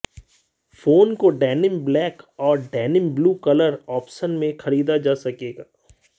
phone को denim black और denim blue colour option में खरीदा जा सकेगा